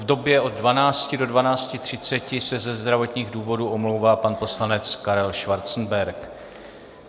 V době od 12 do 12.30 se ze zdravotních důvodů omlouvá pan poslanec Karel Schwarzenberg.